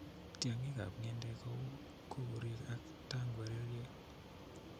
Tiong'ikab ng'endek ko kou kukurik ak tangwereryet.